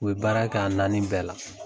U ye baara kɛ a naani bɛɛ la.